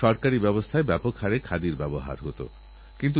গবেষণা ও আবিষ্কার যা প্রযুক্তির প্রাণ সেদিকে নজর দিতে হবে